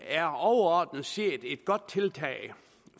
er overordnet set et godt tiltag